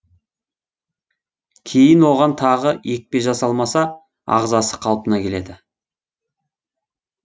кейін оған тағы екпе жасалмаса ағзасы қалпына келеді